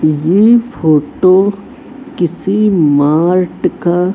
ये फोटो किसी मार्ट का--